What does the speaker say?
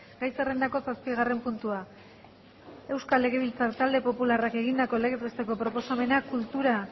gai zerrendako zazpigarren puntua euskal legebiltzar talde popularrak egindako legez besteko proposamena kultura